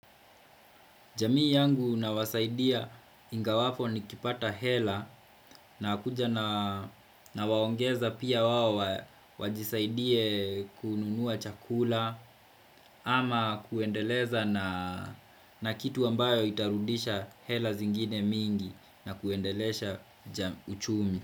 Jamii yangu na wasaidia ingawapo ni kipata hela nakuja na nawaongeza pia wao wajisaidie kununua chakula ama kuendeleza na kitu ambayo itarudisha hela zingine mingi na kuendeleza uchumi.